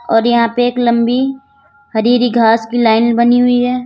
और यहां पे एक लंबी हरी हरी घास की लाइन बनी हुई है।